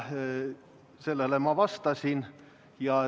Sellele ma vastasin.